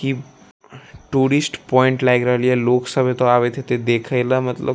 की tourist point लाग रहल या लोक सब एता आवे हैते देखे ले मतलब --